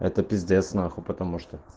это пиздец нахуй потому что